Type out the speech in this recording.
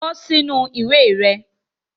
Kọ sinu iwe rẹ